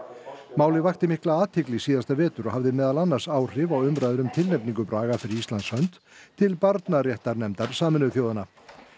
málið vakti mikla athygli síðasta vetur og hafði meðal annars áhrif á umræður um tilnefningu Braga fyrir Íslands hönd til barnaréttarnefndar Sameinuðu þjóðanna